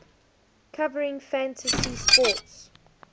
covering fantasy sports